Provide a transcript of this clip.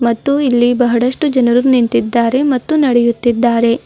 ಮತ್ತು ಇಲ್ಲಿ ಬಹಳಷ್ಟು ಜನರು ನಿಂತಿದ್ದಾರೆ ಮತ್ತು ನಡೆಯುತ್ತಿದ್ದಾರೆ.